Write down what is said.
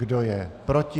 Kdo je proti?